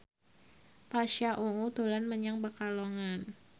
Pasha Ungu dolan menyang Pekalongan